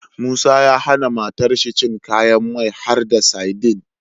Musa ya hAna matar shi cin kayan mai harda sadin